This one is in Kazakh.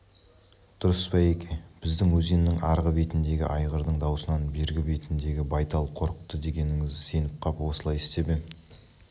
дұрыс байеке біздің өзеннің арғы бетіндегі айғырдың даусынан бергі бетіндегі байтал қорықты дегеніңізге сеніп қап осылай істеп ем